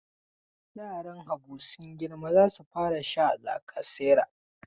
Yaran Habu sun girma za su fara sha lacasera.